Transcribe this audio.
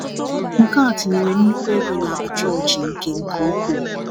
Nke a tinyere nnùkwu ego n'akpa []cs.chọọchị nke nke ukwuu.